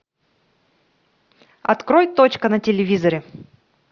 открой точка на телевизоре